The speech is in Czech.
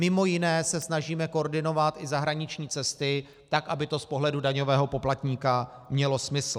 Mimo jiné se snažíme koordinovat i zahraniční cesty tak, aby to z pohledu daňového poplatníka mělo smysl.